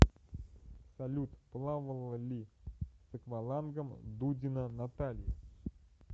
салют плавала ли с аквалангом дудина наталья